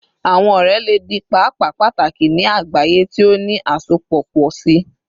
Awọn ọrẹ le di paapaa pataki ni agbaye ti o ni asopọ pọ si